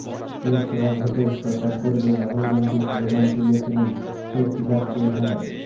লোকসভা ভোটের প্রচার পর্বে রাহুল গান্ধী স্লোগান তুলেছিলেন চৌকিদার চোর হ্যায়